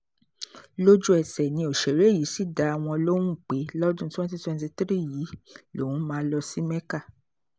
lójú-ẹsẹ̀ ni òṣèré yìí sì dá wọn lóhùn pé lọ́dún 2023 yìí lòun máa lọ sí mecca